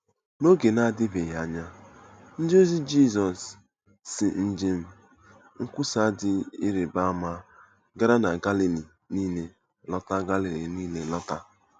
N’oge na-adịbeghị anya, ndịozi Jizọs si njem nkwusa dị ịrịba ama gara na Galili nile lọta Galili nile lọta.